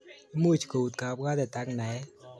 Imuch kouit kabwatet ak naet